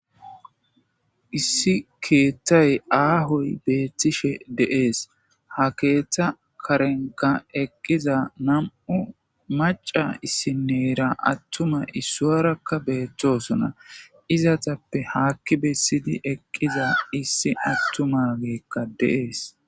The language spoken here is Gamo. issi keethtay aahoy beettishe deees ha keeththa karenka eqqiza nam7u maca issinneyra attuma issuarakka beettosona izatappe haakki bessidi eqqiza issi attumageekka de'ees